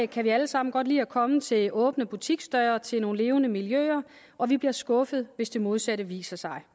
kan vi alle sammen godt lide at komme til åbne butiksdøre og til nogle levende miljøer og vi bliver skuffede hvis det modsatte viser sig